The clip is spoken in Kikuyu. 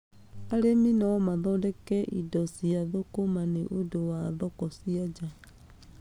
Arĩmi no mathondeke indo cia thũkũma nĩ ũndũ wa thoko cia nja.